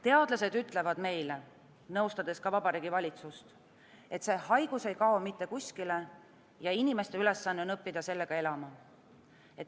Teadlased ütlevad meile, nõustades ka Vabariigi Valitsust, et see haigus ei kao mitte kuskile ja inimeste ülesanne on õppida sellega elama.